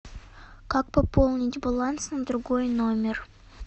как пополнить баланс на другой номер